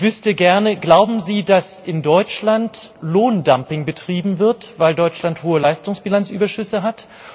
Ich wüsste gerne, ob Sie glauben, dass in Deutschland Lohndumping betrieben wird, weil Deutschland hohe Leistungsbilanzüberschüsse hat.